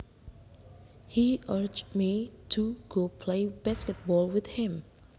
He urged me to go play basketball with him